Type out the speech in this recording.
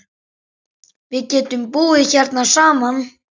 Við getum búið hérna saman.